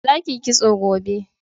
za ki yi kitso gobe!